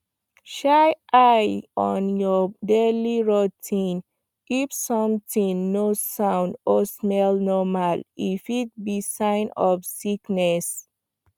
shine eye on your daily routine if something no sound or smell normal e fit be sign of sickness